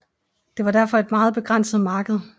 Det var derfor et meget begrænset marked